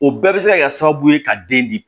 O bɛɛ bɛ se ka kɛ sababu ye ka den di